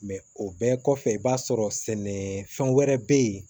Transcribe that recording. o bɛɛ kɔfɛ i b'a sɔrɔ sɛnɛfɛn wɛrɛ bɛ yen